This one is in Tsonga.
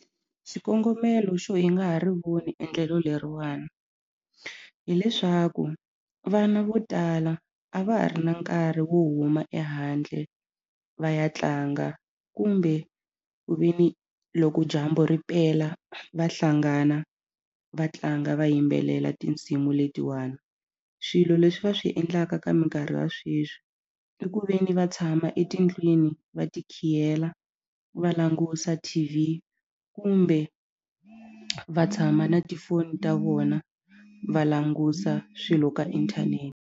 Xikongomelo xo yi nga ha ri voni endlelo leriwani hileswaku vana vo tala a va ha ri na nkarhi wo huma ehandle va ya tlanga kumbe ku veni loko dyambu ri pela va hlangana va tlanga va yimbelela tinsimu letiwani swilo leswi va swi endlaka ka mikarhi ya sweswi i ku veni va tshama etindlwini va ti khiyela va langusa T_V kumbe va tshama na tifoni ta vona va langusa swilo ka .